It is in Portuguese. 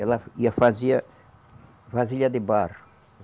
Ela ia fazia vasilha de barro.